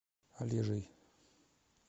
олежей